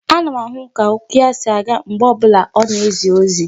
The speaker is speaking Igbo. Ana m ahụ ka okwu ya si aga mgbe ọ bụla ọ na-ezi ozi.